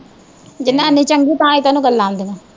ਜਨਾਨੀ ਚੰਗੀ ਤਾਂਹੀਂ ਤੇ ਓਹਨੂੰ ਗਲਾਂ ਆਉਂਦੀਆਂ